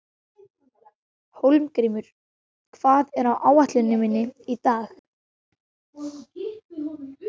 Hólmgrímur, hvað er á áætluninni minni í dag?